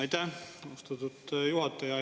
Aitäh, austatud juhataja!